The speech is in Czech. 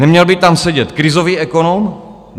Neměl by tam sedět krizový ekonom?